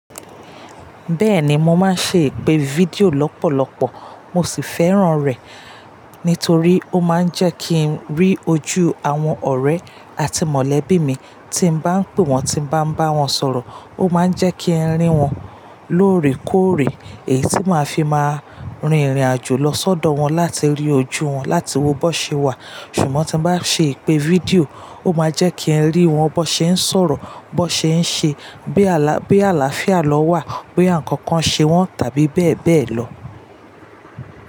Bẹ́ẹ̀ni, mo máa ń ṣe ìpè fídíò lọ́pọ̀lọpọ̀ mo sì fẹ́ràn rẹ̀. Nítorí ó máa ń jẹ́ kí n rí ojú àwọn ọ̀rẹ́ àti mọ̀lẹ́bí mi tí mo bá ń pè wọ́n, tí mo bá ń bá wọn sọ̀rọ̀. Ó máa ń jẹ́ kí n rí wọn lóòrèkóòrè, èyí tí màá fi máa rin ìrìnàjò lọ sọ́dọ̀ wọn láti rí ojú wọn, láti wo bó ṣe wà. Ṣùgbọ́n tí mo bá ṣe ìpè fídíò, ó máa jẹ́ kí n rí wọn bó ṣe ń sọ̀rọ̀, bó ṣe ń ṣe, bí àlàáfíà lọ wà, bóyá ǹnkan kan ṣe wọ́n tàbí bẹ́ẹ̀ bẹ́ẹ̀ lọ.